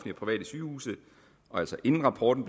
private sygehuse altså inden rapporten